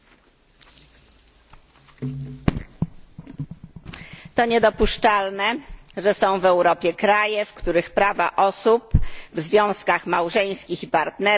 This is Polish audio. To niedopuszczalne, że są w Europie kraje, w których prawa ludzi w związkach małżeńskich i partnerskich są zróżnicowane w zależności od orientacji seksualnej.